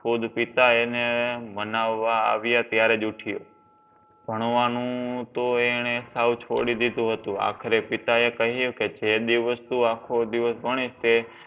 ખુદ પિતા એને મનાવવા આવ્યા ત્યારે જ ઉઠ્યો. ભણવાનું તો એણે સાવ છોડી દીધું હતું. આખરે પિતા એ કહ્યું જે દિવસ તું આખો દિવસ ભણીશ તે